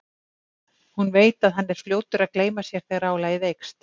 Hún veit að hann er fljótur að gleyma sér þegar álagið eykst.